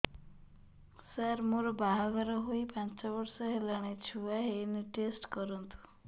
ସାର ମୋର ବାହାଘର ହେଇ ପାଞ୍ଚ ବର୍ଷ ହେଲାନି ଛୁଆ ହେଇନି ଟେଷ୍ଟ କରନ୍ତୁ